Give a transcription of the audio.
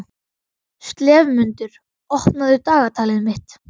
slefmundur, opnaðu dagatalið mitt.